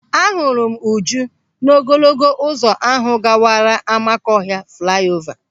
Ahụrụ m Uju n'ogologo ụzọ ahụ gawara Amakọhịa flaiova.